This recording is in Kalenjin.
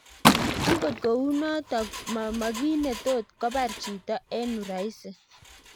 Angot kou notok mo kiit netot kobar chito en uraisi